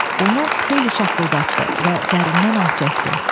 Onu xeyli şaqqıldatdı və dərindən ah çəkdi.